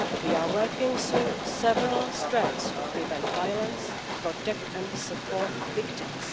We are working on several strands to prevent violence, protect and support victims.